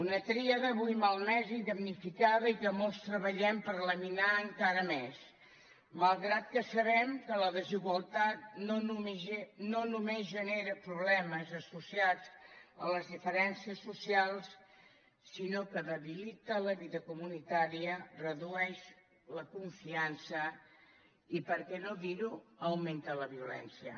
una tríada avui malmesa i damnificada i que molts treballem per laminar encara més malgrat que sabem que la desigualtat no només genera problemes associats a les diferències socials sinó que debilita la vida comunitària redueix la confiança i per què no dir ho augmenta la violència